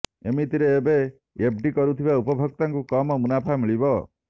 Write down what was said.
ଏମିତିରେ ଏବେ ଏଫଡି କରିଥିବା ଉପଭୋକ୍ତାଙ୍କୁ କମ୍ ମୁନାଫା ମିଳିବ